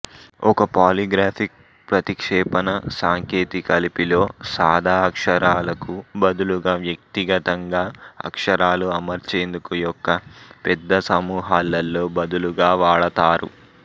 ఒక పాలిగ్రాఫిక్ ప్రతిక్షేపణ సాంకేతికలిపిలో సాదా అక్షరాలకు బదులుగా వ్యక్తిగతంగా అక్షరాలు అమర్చేందుకు యొక్క పెద్ద సమూహాలలో బదులుగా వాడతారు